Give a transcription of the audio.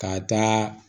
K'a taa